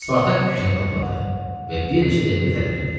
Spartak fikrini topladı və bir neçə dəqiqə tərəddüd etdi.